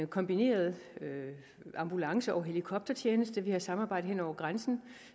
kombineret ambulance og helikoptertjeneste vi har samarbejde hen over grænsen